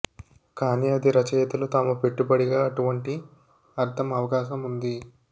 కానీ అది రచయితలు తాము పెట్టుబడిగా అటువంటి అర్థం అవకాశం ఉంది